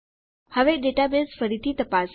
હવે ડેટાબેઝ ફરીથી તપાસીએ